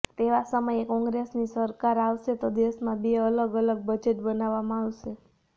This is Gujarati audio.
તેવા સમયે કોંગ્રેસની સરકાર આવશે તો દેશમાં બે અલગ અલગ બજેટ બનાવવામાં આવશે